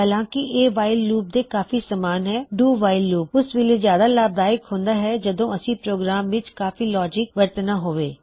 ਹਾਲਾਂਕੀ ਕੀ ਇਹ while loop ਦੇ ਕਾਫੀ ਸਮਾਨ ਨੇ ਡੂ ਵਾਇਲ ਲੂਪ ਓਸ ਵੇਲੇ ਜਿਆਦਾ ਲਾਭਦਾਇਕ ਹੁੰਦਾ ਹੈ ਜਦੋ ਅਸੀ ਪ੍ਰੋਗਰਾਮ ਵਿੱਚ ਕਾਫੀ ਲੌਜਿਕਵਰਤਨਾਂ ਹੋਵੇ